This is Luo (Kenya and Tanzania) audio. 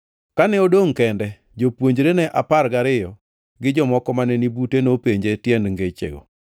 Kane odongʼ kende, jopuonjrene apar gariyo gi jomoko mane ni bute nopenje tiend ngechego.